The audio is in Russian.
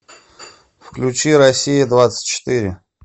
включи россия двадцать четыре